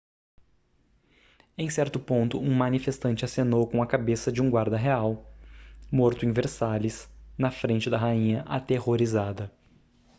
em certo ponto um manifestante acenou com a cabeça de um guarda real morto em versalhes na frente da rainha aterrorizada